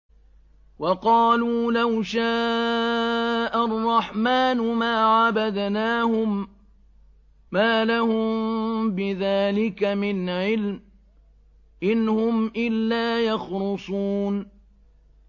وَقَالُوا لَوْ شَاءَ الرَّحْمَٰنُ مَا عَبَدْنَاهُم ۗ مَّا لَهُم بِذَٰلِكَ مِنْ عِلْمٍ ۖ إِنْ هُمْ إِلَّا يَخْرُصُونَ